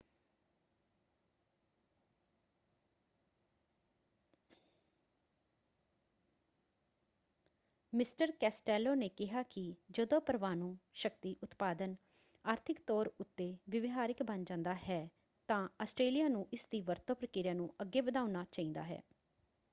Mister Costello ਨੇ ਕਿਹਾ ਕਿ ਜਦੋ ਪਰਮਾਣੂ ਸ਼ਕਤੀ ਉਤਪਾਦਨ ਆਰਥਿਕ ਤੌਰ ਉੱਤੇ ਵਿਵਹਾਰਿਕ ਬਣ ਜਾਂਦਾ ਹੈ ਤਾਂ ਆਸਟ੍ਰੇਲਿਆ ਨੂੰ ਇਸਦੀ ਵਰਤੋਂ ਪ੍ਰਕਿਰਿਆ ਨੂੰ ਅੱਗੇ ਵਧਾਉਣਾ ਚਾਹੀਦਾ ਹੈ।